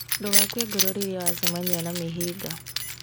Ndũgakue ngoro rĩrĩa wacemania na mĩhĩnga.